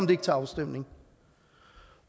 det ikke til afstemning